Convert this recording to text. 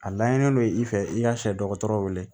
A layini n'i fɛ i ka sɛ dɔgɔtɔrɔ wele